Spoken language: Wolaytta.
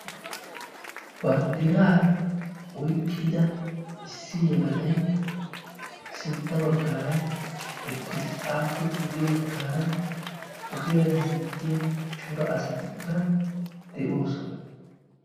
bandira oyqida issi yelagay sintta bagara eqiisi aape sintta bagaraka ogiyani hemetiyaa corra assati de"oosona.